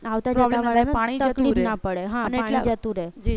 આવતા જતા વાળા ને તકલીફ ના પડે પાણી જતું રે